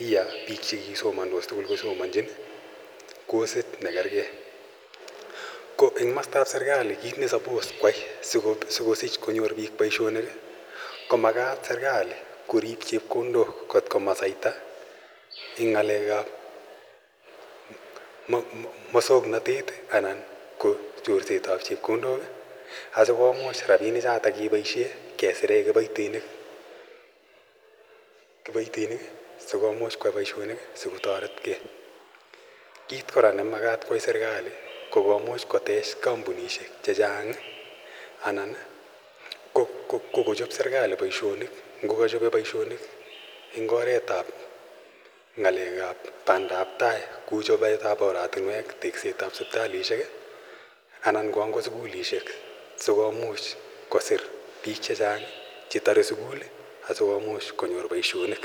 yoe biik chekisomondos tugul kosomonjin kosit nekergei ko serkali konyolu korib chepkondok komasaita en ng'alek ab musong'notet anan en chorset ab chepkondok , kimuch keboisien chepkondok choton kosire kiboitinik sikomuch koyai boisionik kotoretgei, kiit kora neimuch koyai serkali kokotech kampunisiek anan kochop boisionik ngo kochope boisionik en oret ab bandaptai kou teket ab oratunwek, sipitalisiek anan ko sukulisiek si komuch kosir biik chechang' chetore sukul asikomuch konyor boisionik.